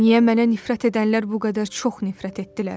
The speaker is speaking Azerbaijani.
Niyə mənə nifrət edənlər bu qədər çox nifrət etdilər?